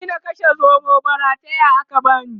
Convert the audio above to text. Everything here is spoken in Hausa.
bani na kashe zomon ba rataya aka bani